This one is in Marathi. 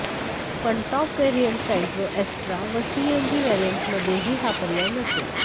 पण टॉप व्हेरियंट सँट्रो अॅस्टा व सीएनजी व्हेरियंटमध्येही हा पर्याय नसेल